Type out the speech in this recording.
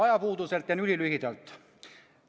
Ajapuudusel teen ülilühidalt.